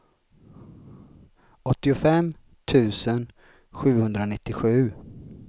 åttiofem tusen sjuhundranittiosju